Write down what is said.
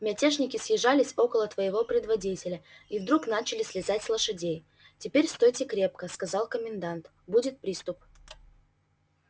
мятежники съезжались около твоего предводителя и вдруг начали слезать с лошадей теперь стойте крепко сказал комендант будет приступ